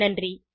நன்றி